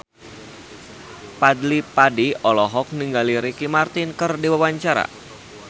Fadly Padi olohok ningali Ricky Martin keur diwawancara